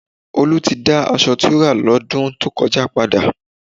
Olú ti dá aṣọ tó rà lọ́dún tó kọjá padà